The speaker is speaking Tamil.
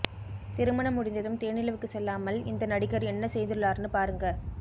திருமணம் முடிந்ததும் தேனிலவுக்கு செல்லாமல் இந்த நடிகர் என்ன செய்துள்ளார்னு பாருங்க